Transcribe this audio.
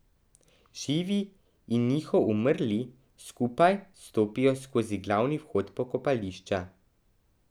Živi in njihov umrli skupaj stopijo skozi glavni vhod pokopališča.